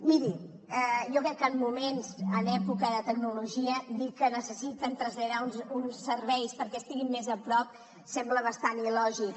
miri jo crec que en moments en època de tecnologia dir que necessiten traslladar uns serveis perquè estiguin més a prop sembla bastant il·lògic